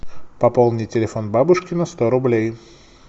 пополни телефон бабушки на сто рублей